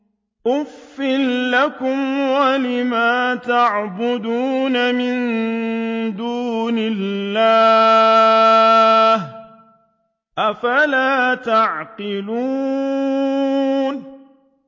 أُفٍّ لَّكُمْ وَلِمَا تَعْبُدُونَ مِن دُونِ اللَّهِ ۖ أَفَلَا تَعْقِلُونَ